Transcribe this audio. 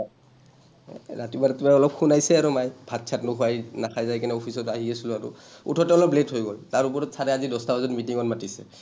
এ, ৰাতিপুৱা ৰাতিপুৱা অলপ শুনাইছে আৰু মাই, ভাত চাত নোখোৱা, এই নাখাই যাই কেনাই অফিচত আহি আছিলো আৰু, উঠোঁতে অলপ late হৈ গ’ল। তাৰ উপৰি ছাৰে আজি দহটা বজাত meeting ত মাতিছে।